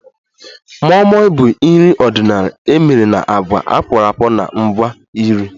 Moi Moi bụ nri ọdịnala emere na agwa akworakwo na ngwa nri